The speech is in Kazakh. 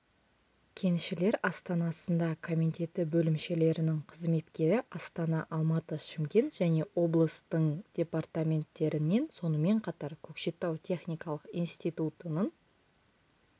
кеншілер астанасында комитеті бөлімшелерінің қызметкері астана алматы шымкент және облыстың департаменттерінен сонымен қатар көкшетау техникалық институтының